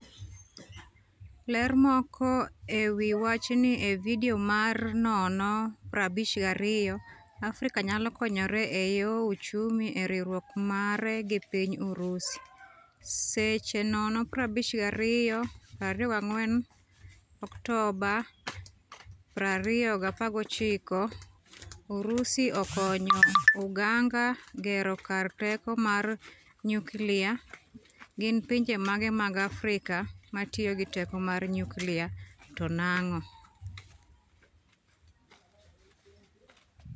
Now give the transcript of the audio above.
Ler moko ewi wachni e video mar 0:52, Afrika nyalo konyore eyo uchumi e riwruok mare gi piny Urusi, seche 0:52 24 Oktoba 2019Urusi okonyo Uganga gero kar teko mar nyukilia, gin pinje mage mag Afrika matiyo gi teko mar nyukilia to nang'o?